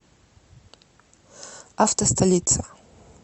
автостолица